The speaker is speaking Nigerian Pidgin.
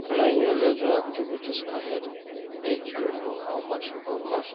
Plan your leisure activities ahead, make you know how much e go cost.